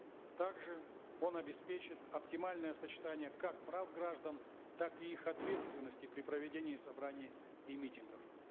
также он обеспечит оптимальное сочетание как прав граждан так и их ответственности при проведении собраний и митингов